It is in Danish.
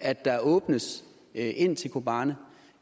at der åbnes ind til kobani